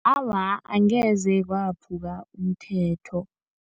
Awa, angeze kwaphuka umthetho.